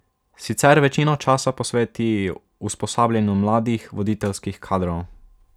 Sicer večino časa posveti usposabljanju mladih voditeljskih kadrov.